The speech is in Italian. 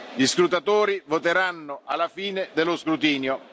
vostro badge. Gli scrutatori voteranno alla fine dello